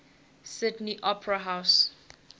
sydney opera house